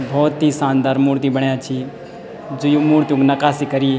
भौत ही सानदार मूर्ति बण्यां छीं जू यु मूर्तियों क नकाशी करीं।